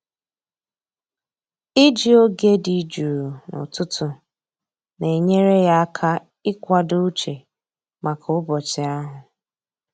Iji oge dị jụụ n'ụtụtụ na-enyere ya aka ịkwado uche maka ụbọchị ahụ.